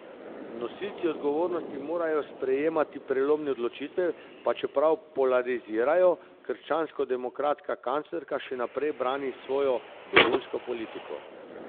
Nosilci odgovornosti morajo sprejemati prelomne odločitve, pa čeprav polarizirajo, krščanskodemokratska kanclerka še naprej brani svojo begunsko politiko.